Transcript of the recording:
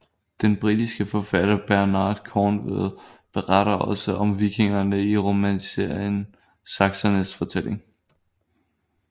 Den britiske forfatter Bernard Cornwell beretter også om vikingerne i romanserien Saksernes fortælling